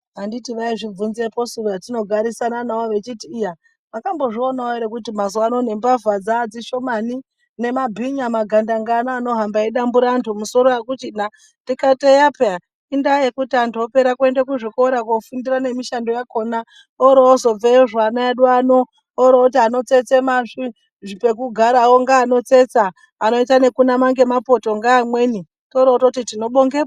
Anditi vaizvibvunzepo su vatinogarisane navo vechiti iya "mwakambobozvionawo ere kuti mazuwa ano nembavha dzashomani nemabhinya magandanga ano anohamba eidambure anhu misoro akuchina"ndikati eya peya indayekuti anhu opera kuenda kuzvikora kofundira nemishando yakona oroozobveyozve ana edu ano orooti ano tsetse pekugara onga anotsetsa anoita ngekunama ngemapoto ngeamweni toroototi tinobongepo!